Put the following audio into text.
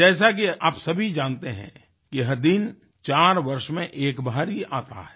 जैसा कि आप सभी जानते हैं कि यह दिन 4 वर्ष में एक बार ही आता है